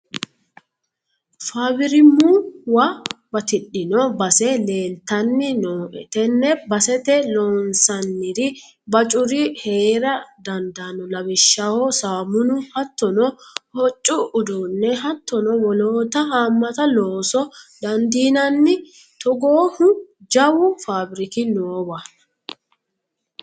Fabbirimuwa batidhino base leeltani nooe tene baseta loonsaniri bacuri heera dandaano lawishshaho samunu, hatttono hoccu uduune hattono wolootta hamatta loosa dandiinanni togoohu jawu fabbirikki noowa.